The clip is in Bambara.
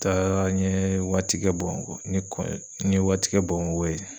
Taara n ye waati kɛ Bamako n ye n ye waati kɛ Bamako ye.